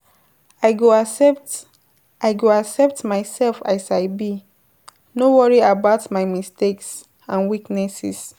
I go accept I go accept myself as I be, no worry about my mistakes and weaknesses.